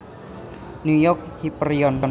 New York Hyperion